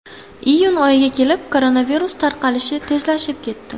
Iyun oyiga kelib koronavirus tarqalishi tezlashib ketdi.